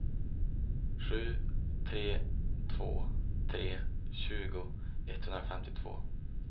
sju tre två tre tjugo etthundrafemtiotvå